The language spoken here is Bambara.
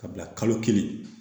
Ka bila kalo kelen